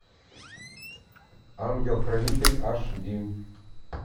ангел хранитель аш ди